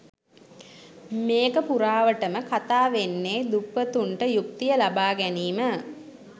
මේක පුරාවටම කතා වෙන්නේ දුප්පතුන්ට යුක්තිය ලබා ගැනීම